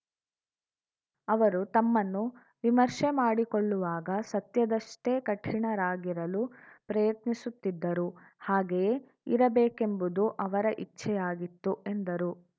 ಅವರು ತಮ್ಮನ್ನು ನಿಮರ್ಷೆಮಾಡಿಕೊಳ್ಳುವಾಗ ಸತ್ಯದಷ್ಟೆಕಠಿಣರಾಗಿರಲು ಪ್ರಯತ್ನಿಸುತ್ತಿದ್ದರು ಹಾಗೆಯೇ ಇರಬೇಕೆಂಬುದು ಅವರ ಇಚ್ಛೆಯಾಗಿತ್ತು ಎಂದರು